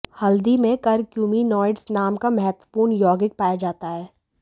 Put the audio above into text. हल्दी में करक्यूमिनोइड्स नाम का महत्वपूर्ण यौगिक पाया जाता है